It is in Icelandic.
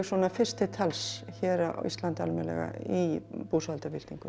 fyrst til tals hér á Íslandi almennilega í búsáhaldabyltingunni